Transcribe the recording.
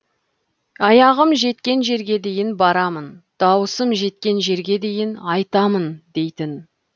аяғым жеткен жерге дейін барамын дауысым жеткен жерге дейін айтамын дейтін